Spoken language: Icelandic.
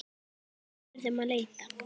Verðum að leita.